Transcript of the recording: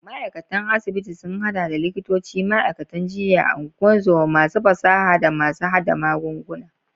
Ma'aikatan asibiti sun hada da likitoci, ma'aikatan jinya, ungozoma, masu fasaha, da masu hada magunguna.